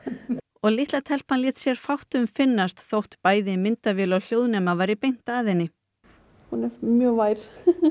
og litla telpan lét sér fátt um finnast þótt myndavél og hljóðnema væri beint að henni hún er mjög vær